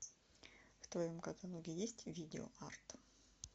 в твоем каталоге есть видео арт